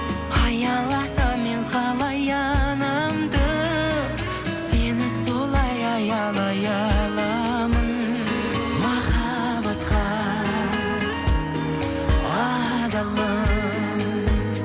аяласам мен қалай анамды сені солай аялай аламын махаббатқа адалым